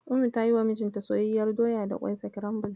Ummi ta yiwa mijinta soyayyiyar doya da ƙwai sakirambil.